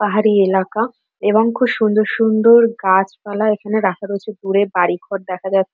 পাহাড়ি এলাকা এবং খুব সুন্দর সুন্দর গাছপালা এখানে রাখা রয়েছে। দূরে বাড়িঘর দেখা যা--